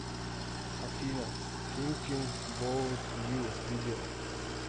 афина финкин боут ю видео